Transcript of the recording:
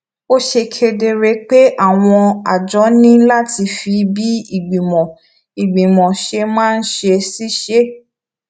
ó ṣe kedere pé àwọn àjọ ní láti fi bí ìgbìmọ ìgbìmò ṣe máa ń ṣiṣé